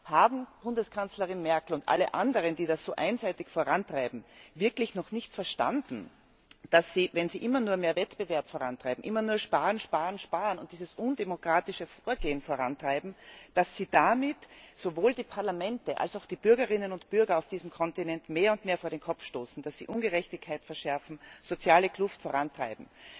Haben Bundeskanzlerin Merkel und alle anderen, die das so einseitig vorantreiben, wirklich noch nicht verstanden, dass sie, wenn sie immer nur mehr Wettbewerb vorantreiben, immer nur Sparen, Sparen, Sparen und dieses undemokratische Vorgehen vorantreiben, damit sowohl die Parlamente also auch die Bürgerinnen und Bürger auf diesem Kontinent mehr und mehr vor den Kopf stoßen, dass sie Ungerechtigkeit verschärfen, soziale Kluft vorantreiben?